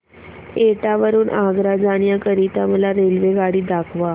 एटा वरून आग्रा जाण्या करीता मला रेल्वेगाडी दाखवा